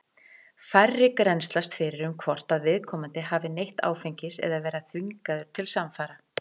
Færri grennslast fyrir um hvort að viðkomandi hafi neytt áfengis eða verið þvingaður til samfara.